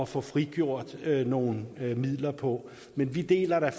få frigjort nogle midler på men vi deler da